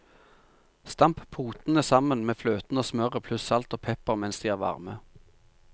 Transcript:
Stamp potene sammen med fløten og smøret pluss salt og pepper mens de er varme.